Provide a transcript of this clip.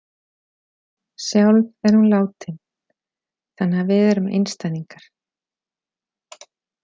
Sjálf er hún látin þannig að við erum einstæðingar.